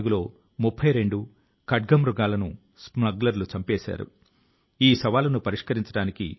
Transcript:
ప్రియమైన నా దేశవాసులారా అరుణాచల్ ప్రదేశ్ ప్రజలు ఒక సంవత్సరం నుండి ఒక ప్రత్యేకమైన ప్రచార ఉద్యమాన్ని నిర్వహిస్తున్నారు